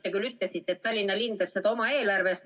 Te küll ütlesite, et Tallinna linn teeb seda oma eelarvest.